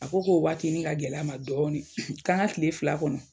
A ko k'o waati nin ka gɛl'a ma dɔɔnin, k'an ka tile fila kɔnɔ.